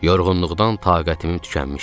Yorğunluqdan taqətimin tükənmişdi.